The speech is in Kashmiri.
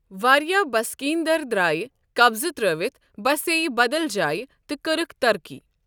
واریاہ بسکیٖن دَر درٛایہِ قبضہٕ تر٘ٲوِتھ ، بَسییہِ بَدل جایہِ، تہٕ کٔرٕکھ ترقی۔